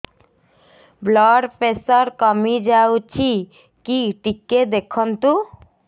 blood pressure କମି ଯାଉଛି କି ଟିକେ ଦେଖନ୍ତୁ